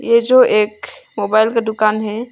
ये जो एक मोबाइल का है।